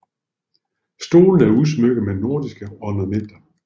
Stolene er udsmykket med nordiske ornamenter